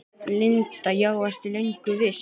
Linda: Já, ertu löngu viss?